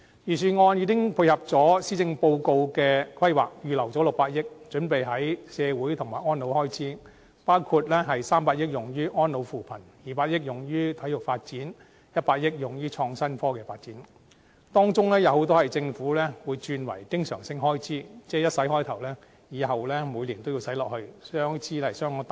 預算案已經配合施政報告的規劃，預留600億元，準備用於社會及安老開支，包括300億元用於安老扶貧 ，200 億元用於體育發展，以及100億元用於創新科技發展，當中有很多被政府轉為經常性開支，即開始發展後，每年也要繼續投資下去，開支相當大。